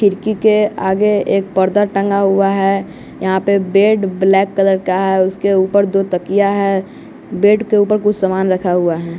खिड़की के आगे एक पर्दा टंगा हुआ है यहां पे बेड ब्लैक कलर का है उसके ऊपर दो तकिया है बेड के ऊपर कुछ सामान रखा हुआ है।